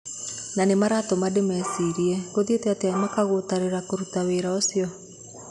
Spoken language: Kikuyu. Na nĩmaratũma ndĩmecirĩe... Gũthiĩte atĩa makagũtarĩrĩra kũruta wĩra ũcio.